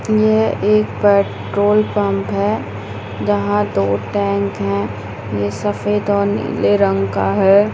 यह एक petrol pump है जहाँ दो टेंक है ये सफ़ेद और नीले रंग का है।